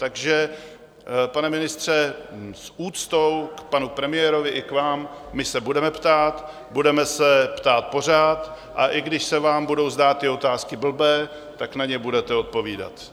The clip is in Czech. Takže pane ministře, s úctou k panu premiérovi i k vám, my se budeme ptát, budeme se ptát pořád, a i když se vám budou zdát ty otázky blbé, tak na ně budete odpovídat.